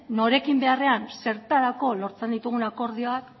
norekin beharrean zertarako lortzen ditugun akordioak